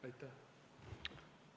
Aitäh!